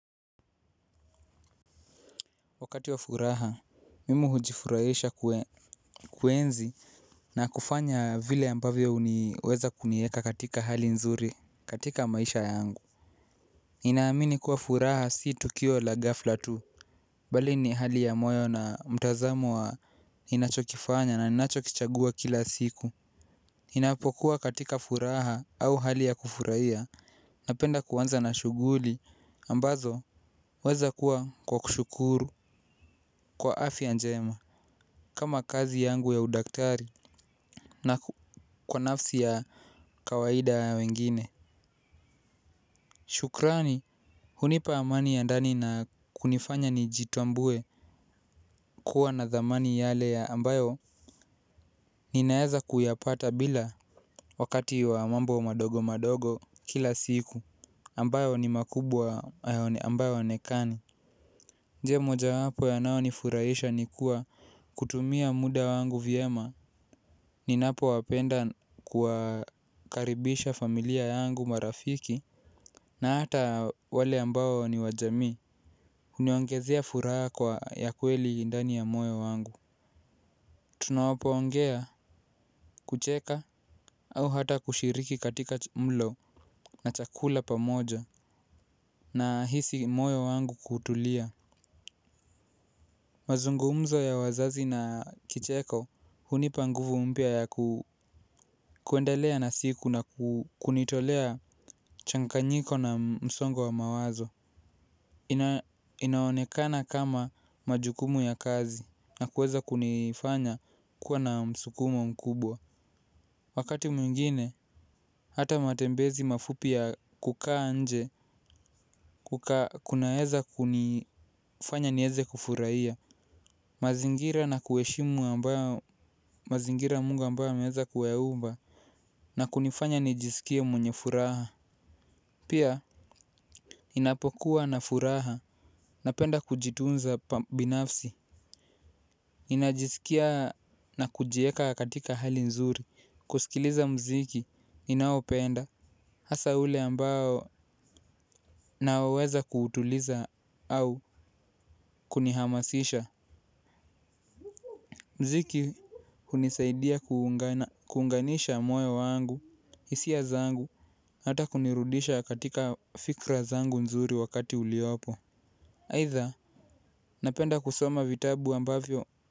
Wakati wa furaha, mimi hujifurahisha kuenzi na kufanya vile ambavyo huniweza kuniweka katika hali nzuri, katika maisha yangu ninaamini kuwa furaha si tukio la gafla tu. Bali ni hali ya moyo na mtazamo wa ninacho kifanya na ninacho kichagua kila siku ninapokuwa katika furaha au hali ya kufurahia. Napenda kuanza na shughuli ambazo weza kuwa kwa kushukuru kwa afya njema. Kama kazi yangu ya udaktari na kwa nafsi ya kawaidaya wengine. Shukrani hunipa amani ya ndani na kunifanya nijitambue kuwa na dhamani yale ya ambayo ninaweza kuyapata bila wakati wa mambo madogo madogo kila siku ambayo ni makubwa ambayo yaonekani. Njia moja wapo ya yanayo nifurahisha ni kuwa kutumia muda wangu vyema. Ni napo wapenda kuwakaribisha familia yangu marafiki. Na hata wale ambao ni wajamii huniongezea furaha kwa ya kweli ndani ya moyo wangu. Tunapo ongea kucheka au hata kushiriki katika mlo na chakula pamoja. Na hisi moyo wangu kutulia mazungumzo ya wazazi na kicheko. Huni panguvu mpya ya kwendelea na siku na kunitolea mchangaka nyiko na msongo wa mawazo. Inaonekana kama majukumu ya kazi na kuweza kunifanya kuwa na msukumo mkubwa. Wakati mwingine, hata matembezi mafupiya kukaa nje kuna weza kunifanya niweze kufurahia. Mazingira na kuheshimu ambayo mazingira mungu ambayo ameweza kuyaumba. Na kunifanya nijisikie mwenye furaha. Pia ninapokuwa na furaha. Napenda kujitunza binafsi ninajisikia na kujiweka katika hali nzuri. Kusikiliza muziki ninaopenda. Hasa ule ambao na weza kutuliza au kunihamasisha. Muziki hunisaidia kuunganisha moyo wangu hisia zangu hata kunirudisha katika fikra zangu nzuri wakati uliopo aitmdha napenda kusoma vitabu ambavyo.